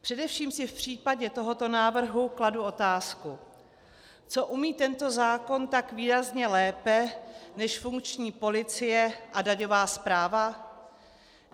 Především si v případě tohoto návrhu kladu otázku, co umí tento zákon tak výrazně lépe než funkční policie a daňová správa.